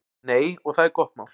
Nei, og það er gott mál.